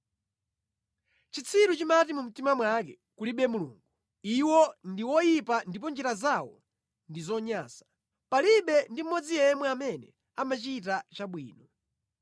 Chitsiru chimati mu mtima mwake, “Kulibe Mulungu.” Iwo ndi oyipa ndipo njira zawo ndi zonyansa; palibe ndi mmodzi yemwe amene amachita chabwino.